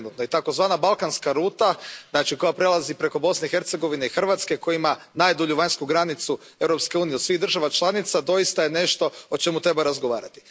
Takozvana balkanska ruta koja prelazi preko Bosne i Hercegovine i Hrvatske i koja ima najdulju vanjsku granicu Europske unije od svih država članica doista je nešto o čemu treba razgovarati.